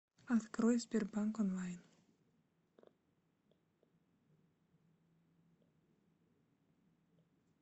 открой сбербанк онлайн